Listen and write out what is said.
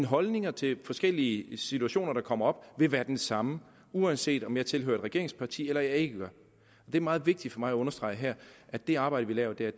holdninger til forskellige situationer der kommer op vil være den samme uanset om jeg tilhører et regeringsparti eller jeg ikke gør det er meget vigtigt for mig at understrege her at det arbejde vi laver der